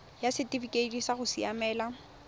ya setifikeite sa go siamela